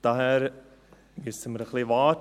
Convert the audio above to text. Daher müssen wir noch etwas warten.